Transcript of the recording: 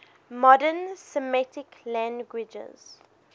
modern semitic languages